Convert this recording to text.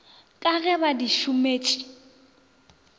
ka ge ba di šometše